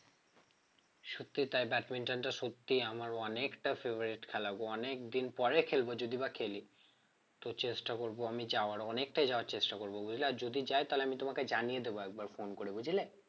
সত্যি তাই ব্যাডমিন্টন টা সত্যিই আমার অনেকটা favourite খেলা গো অনেক দিন পরে খেলব যদিবা খেলি তো চেষ্টা করব আমি যাওয়ার অনেকটা যাওয়ার চেষ্টা করব বুঝলে আর যদি যাই তালে আমি তোমাকে জানিয়ে দেবো একবার phone করে বুঝলে?